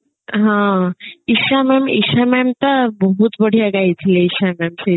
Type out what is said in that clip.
ହଁ Isha mam Isha mam ତା ବହୁତ ବଢିଆ ଗାଇଥିଲେ ଇଶା mam ସେଦିନ